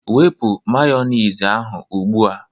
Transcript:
Wepu Mayonezi a ugbu a